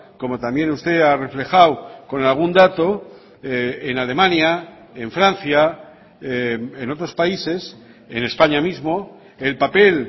como también usted ha reflejado con algún dato en alemania en francia en otros países en españa mismo el papel